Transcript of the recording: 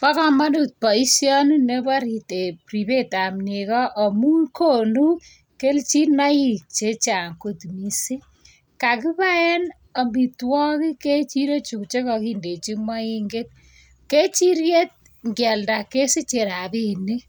Ba kamanut baishoni Nebo ribet ab nego amun konu lechinaik chechang kot mising kakibaen amitwagik en ziro Chu chekakindechi mainget kechiriet ngeyalda kesiche rabinik